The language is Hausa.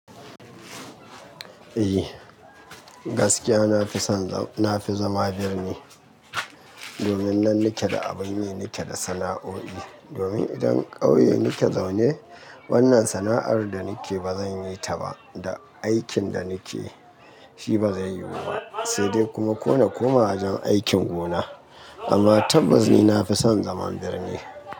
Eh gaskiya nafison nafi zama birni domin nan nike da abin me nike da sana'o'i domin idan ƙauye nike zaune wannan sana'ar da nike bazan yi ta ba da aikin da nike shi bazai yiwu ba sai dai kuma ƙone koma wajen aikin gona amma tabbas ni nafison zaman birni.